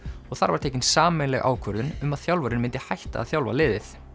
og þar var tekin sameiginleg ákvörðun um að þjálfarinn myndi hætta að þjálfa liðið